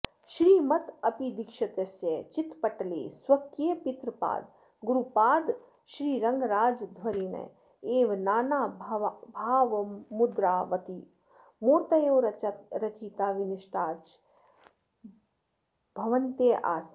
श्रीमदप्पयदीक्षितस्य चित्तपटले स्वकीयपितृपादगुरुपादश्रीरङ्गराजाध्वरिणः एव नानाभावमुद्रावत्यो मूर्त्तयो रचिताः विनष्टाश्च भवन्त्यः आसन्